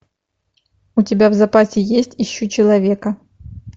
у тебя в запасе есть ищу человека